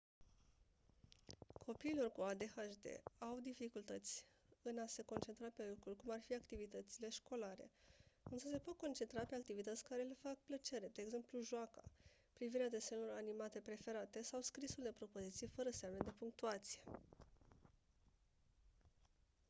copiilor cu adhd au dificultăți în a se concentra pe lucruri cum ar fi activitățile școlare însă se pot concentra pe activități care le fac plăcere de exemplu joaca privirea desenelor animate preferate sau scrisul de propoziții fără semne de punctuație